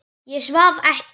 Ég svaf ekki.